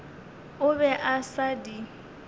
o be a sa di